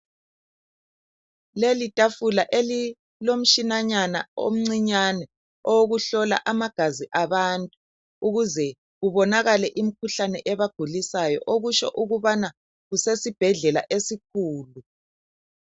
Leli tafula elilomtshinanyana omncinyane owokuhlola amagazi abantu ukuze kubonakale imikhuhlane ebagulisayo, okutsho ukubana kusesibhedlela esikhulu.